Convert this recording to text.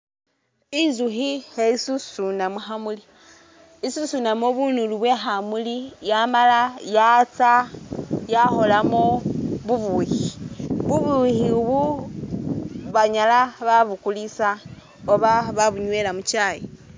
Intsukhi khesusuna mu khamuli, isusunamo bunulu bwekhamuli yamala yatsya yakholamo bubukhi, bubukhi ubu banyala babukulisa oba babunywela mu kyaayi.